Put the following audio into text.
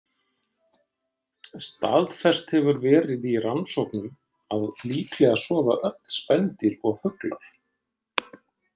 Staðfest hefur verið í rannsóknum að líklega sofa öll spendýr og fuglar.